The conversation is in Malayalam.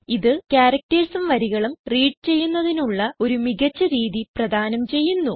ഇത് ക്യാരക്ടർസ് ഉം വരികളും റീഡ് ചെയ്യുന്നതിനുള്ള ഒരു മികച്ച രീതി പ്രധാനം ചെയ്യുന്നു